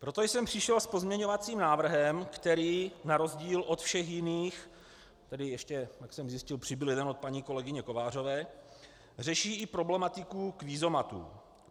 Proto jsem přišel s pozměňovacím návrhem, který na rozdíl od všech jiných - tedy ještě, jak jsem zjistil, přibyl jeden od paní kolegyně Kovářové - řeší i problematiku kvízomatů.